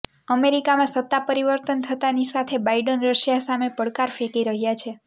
અમેરિકામાં સત્તા પરિવર્તન થતાની સાથે બાઈડન રશિયા સામે પડકાર ફેંકી રહ્યાં છે